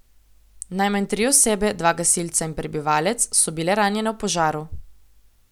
Najmanj tri osebe, dva gasilca in prebivalec, so bile ranjene v požaru.